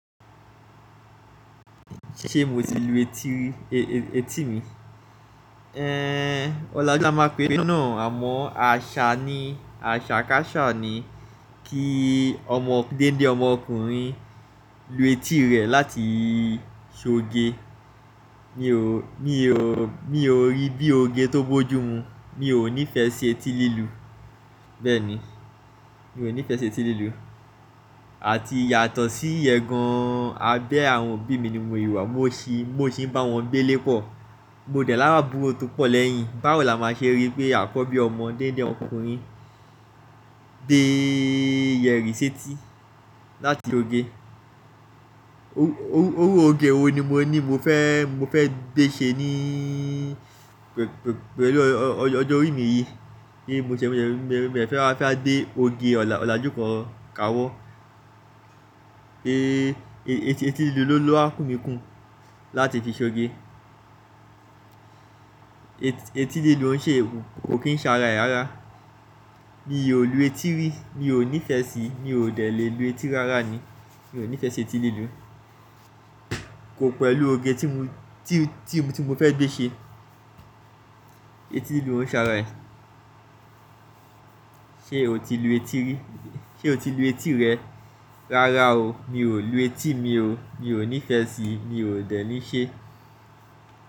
Ṣé mo ti lu etí rí, e-e-etí mi? Ọlàjú la máa pe náà àmọ́ àṣà ni, àṣà káṣà ni kí ọmọ-gende ọmọkùnrin lu etí rẹ̀ láti ṣoge. Mi ò rí bí oge tó bójú mu, mi ò nífẹẹ si etí lílu. Bẹ́ẹ̀ ni, mi ò nífẹẹ ṣe etí lílu. Àti yàtọ̀ sí ìyẹn gan abẹ́ àwọn òbí mi ni mo ì wà, mo sì, mo sì ń bá wọn gbé lè pọ̀. Mo dẹ̀ l'awon àbúrò tó pọ̀ lẹ́yìn. Báwo la máa ṣe rí pé àkọ́bí ọmọ gende ọkùnrin gbe yẹ̀rì s'eti láti soge? Iru oge wo ni mo ní mo fẹ́, mo fẹ́ gbe ṣe ní pẹ̀lú ọjọ́ orí mi yìí? Ni mo ṣẹ̀ṣẹ̀ wa fẹ́ gbe oge ọ̀làjú kan ka wọ́. Etí lílu ló w ku mi kú láti fi ṣ'oge. Etí líluo kò kín ṣ'ara ẹ̀ rara. Mi ò lu etí rí, mi ò nífẹẹ sí, mi ò dẹ̀ le lu etí rara ni. Mi ò nífẹẹ ṣe etí lílu. Kò pẹ̀lú oge tí mo, tí, tí mo fẹ́ gbé ṣe. Etí lílu ń ṣara ẹ̀. Ṣé o ti lu etí rí? Ṣé o ti lu etí rẹ? Rara o, mi ò lu etí, mi ò, mi ò nífẹẹ sí, mi ò dẹ̀ ní ṣe.